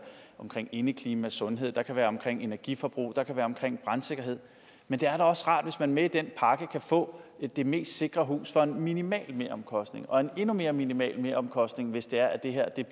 omkring indeklima sundhed det kan være omkring energiforbrug og det kan være omkring brandsikkerhed men det er da også rart hvis man med i den pakke kan få det mest sikre hus for en minimal meromkostning og en endnu mere minimal meromkostning hvis det er at det